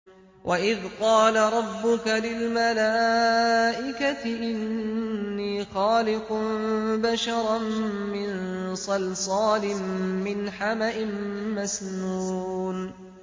وَإِذْ قَالَ رَبُّكَ لِلْمَلَائِكَةِ إِنِّي خَالِقٌ بَشَرًا مِّن صَلْصَالٍ مِّنْ حَمَإٍ مَّسْنُونٍ